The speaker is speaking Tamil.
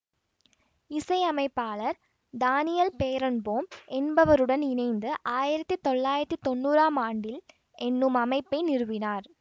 இசையமைப்பாளர் தானியல் பேரன்போம் என்பவருடன் இணைந்து ஆயிரத்த்தி தொள்ளயிரதி தொன்னுராம் ஆண்டில் என்னும் அமைப்பை நிறுவினார்